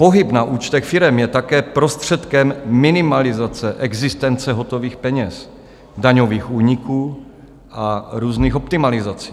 Pohyb na účtech firem je také prostředkem minimalizace existence hotových peněz, daňových úniků a různých optimalizací.